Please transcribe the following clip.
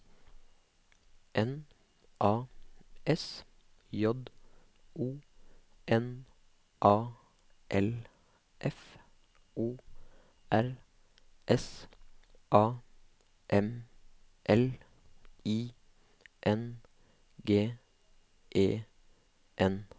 N A S J O N A L F O R S A M L I N G E N